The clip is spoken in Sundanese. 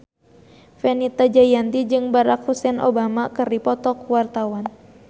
Fenita Jayanti jeung Barack Hussein Obama keur dipoto ku wartawan